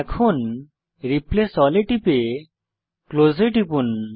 এখন replace all এ টিপে ক্লোজ এ টিপুন